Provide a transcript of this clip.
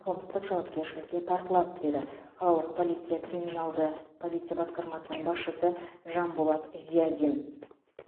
қылмыстық жауапкершілікке тартылады деді қалалық полиция криминалды полиция басқармасының басшысы жанболат зиадин